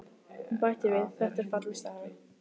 Hún bætti við: Þetta er falleg saga.